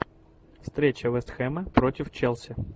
встреча вест хэма против челси